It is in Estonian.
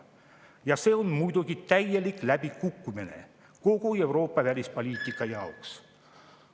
Ja see on muidugi täielik läbikukkumine kogu Euroopa välispoliitika jaoks.